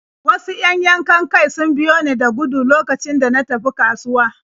Wasu 'yan yankan-kai sun biyo ni da gudu lokacin da na tafi kasuwa.